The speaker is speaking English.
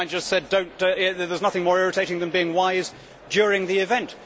A friend of mine just said that there is nothing more irritating than being wise during the event.